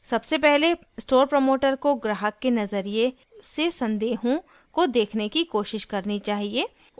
सबसे पहले store promoter को ग्राहक के नज़रिया से संदेहों को देखने की कोशिश करनी चाहिए